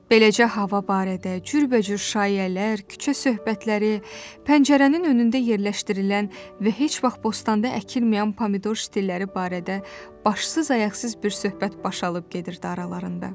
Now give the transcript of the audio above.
Beləcə hava barədə, cürbəcür şaiyələr, küçə söhbətləri, pəncərənin önündə yerləşdirilən və heç vaxt bostanda əkilməyən pomidor stilləri barədə başsız ayaqsız bir söhbət baş alıb gedirdi aralarında.